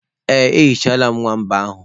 Ee, emechaala m nwamba ahụ.